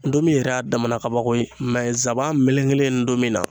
ntomi yɛrɛ y'a damana kabako ye nsaban melekelen ntomi na